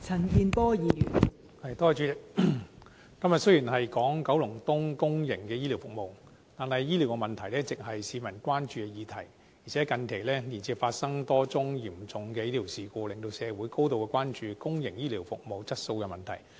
代理主席，雖然今天辯論九龍東公營醫療服務，但醫療問題一直為市民關注，而且近期接連發生多宗嚴重醫療事故，令社會高度關注公營醫療服務質素的問題。